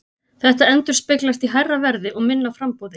Þetta endurspeglast í hærra verði og minna framboði.